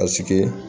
Asigi